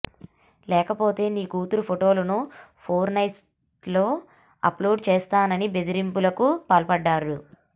లేకపోతే నీ కూతురు ఫోటోలను ఫోర్న్సైట్లలో అప్లోడ్ చేస్తానని బెదిరింపులకు పాల్పడ్డాడు